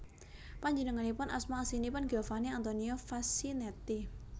Panjenenganipun asma aslinipun Giovanni Antonio Facchinetti